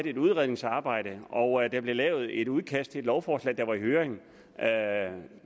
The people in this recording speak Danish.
i et udredningsarbejde og at der blev lavet et udkast til et lovforslag der var i høring høring